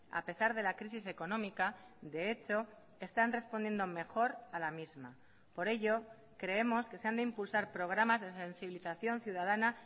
a pesar de la crisis económica de hecho están respondiendo mejor a la misma por ello creemos que se han de impulsar programas de sensibilización ciudadana